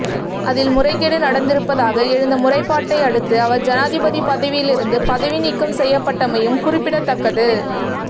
அதில் முறைகேடு நடந்திருப்பதாக எழுந்த முறைப்பாட்டை அடுத்து அவர் ஜனாதிபதி பதவியில் இருந்து பதவி நீக்கம் செய்யப்பட்டமையும் குறிப்பிடத்தக்கது